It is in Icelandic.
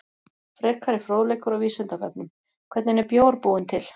Frekari fróðleikur á Vísindavefnum: Hvernig er bjór búinn til?